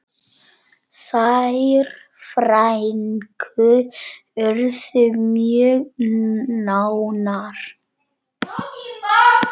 Þær frænkur urðu mjög nánar.